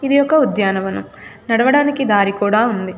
ఇది ఒక ఉద్యానవనం. నడవడానికి దారి కూడా ఉంది.